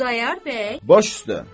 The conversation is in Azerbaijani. Xudayar bəy baş üstə.